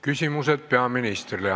Küsimused peaministrile.